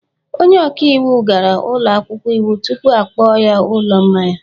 Onye ọka iwu gara ụlọ akwụkwọ iwu tupu akpọọ ya ụlọ mmanya